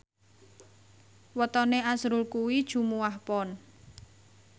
wetone azrul kuwi Jumuwah Pon